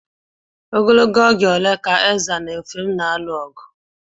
Ogologo oge ole ka Ezza na Effium na-alụ ogu?